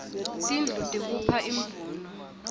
tindlu tikuipha imvuno